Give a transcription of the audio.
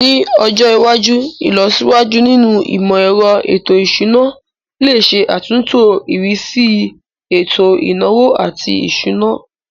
Ní ọjọ iwájú, ìlọsíwájú nínú imọ-ẹrọ ètò ìṣúná lè ṣe àtúntò ìrísí ètò ìnáwó àti ìṣúná.